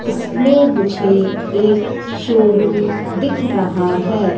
इसमें मुझे एक शोरूम दिख रहा है।